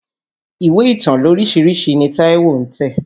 Ìwé ìtàn lóríṣiríṣi ni Táíwó ń tẹ̀.